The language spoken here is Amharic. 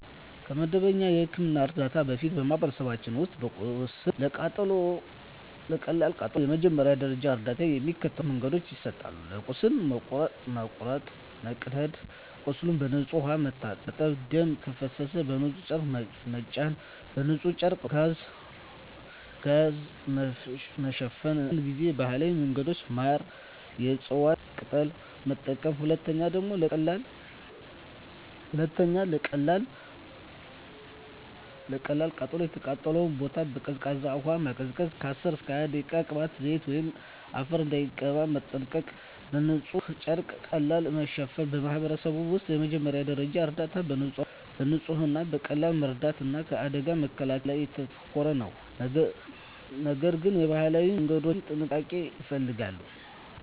ከመደበኛ የሕክምና እርዳታ በፊት፣ በማኅበረሰቦች ውስጥ ለቁስል ወይም ለቀላል ቃጠሎ የመጀመሪያ ደረጃ እርዳታ በሚከተሉት መንገዶች ይሰጣል፦ ለቁስል (መቁረጥ፣ መቀደድ) ቁስሉን በንጹሕ ውሃ መታጠብ ደም ከፈሰሰ በንጹሕ ጨርቅ መጫን በንጹሕ ጨርቅ/ጋዝ መሸፈን አንዳንድ ጊዜ ባህላዊ መንገዶች (ማር፣ የእፅዋት ቅጠል) መጠቀም 2. ለቀላል ቃጠሎ የተቃጠለውን ቦታ በቀዝቃዛ ውሃ ማቀዝቀዝ (10–20 ደቂቃ) ቅባት፣ ዘይት ወይም አፈር እንዳይቀባ መጠንቀቅ በንጹሕ ጨርቅ ቀለል ማሸፈን በማኅበረሰብ ውስጥ የመጀመሪያ ደረጃ እርዳታ በንጽህና፣ በቀላል መርዳት እና ከአደጋ መከላከል ላይ ያተኮራል፤ ነገር ግን የባህላዊ መንገዶች ጥንቃቄ ይፈልጋሉ።